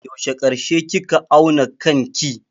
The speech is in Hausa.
Yaushe karshe kika auna kanki?